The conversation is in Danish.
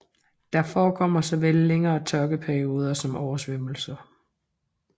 Der forekommer såvel længere tørkeperioder som oversvømmelser